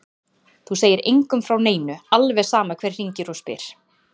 Þú segir engum frá neinu, alveg sama hver hringir og spyr.